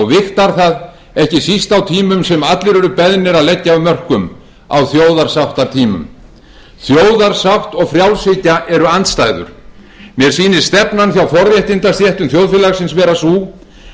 vigtar það ekki síst á tímum sem allir eru beðnir að leggja af mörkum á þjóðarsáttartímum þjóðarsátt og frjálshyggja eru andstæður mér sýnist stefnan hjá forréttindastéttum þjóðfélagsins vera sú að þjóðarsátt sé